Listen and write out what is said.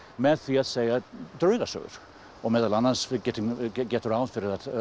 með því að segja draugasögur og meðal annars er gert ráð fyrir að